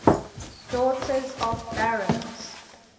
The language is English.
daughters of barons